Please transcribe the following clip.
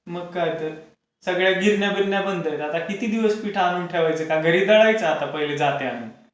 मग काय तर. सगळ्या गिरण्या बिरण्या बंद, किती दिवस पीठ आणून ठेवायच? का घरी दळायच आता पहिले जातं आणून?